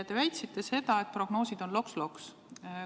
Te väitsite seda, et prognoosid on loks-loks.